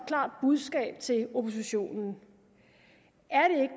klart budskab til oppositionen er